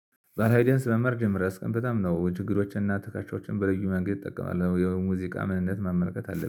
ባላይደንስ መመር ጀምረህ አስቀም በጣም ነው ችግሮችንና ትካቾችን በልዩ መንገድ ይጠቀማለሁ። የሙዚቃ ምንነት መመልከት አለብህ